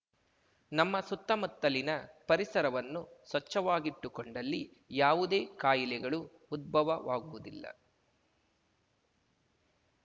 ನಮ್ಮ ಸುತ್ತಮುತ್ತಲಿನ ಪರಿಸರವನ್ನು ಸ್ವಚ್ಚವಾಗಿಟ್ಟುಕೊಂಡಲ್ಲಿ ಯಾವುದೇ ಕಾಯಿಲೆಗಳು ಉದ್ಬವಾಗುವುದಿಲ್ಲ